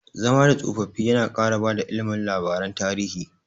Zama da tsofaffi yana ƙara bada ilimi labaran tarihi.